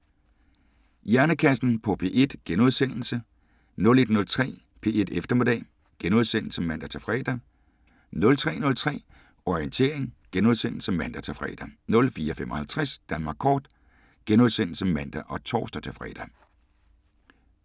00:05: Hjernekassen på P1 * 01:03: P1 Eftermiddag *(man-fre) 03:03: Orientering *(man-fre) 04:55: Danmark kort *(man og tor-fre)